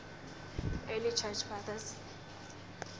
early church fathers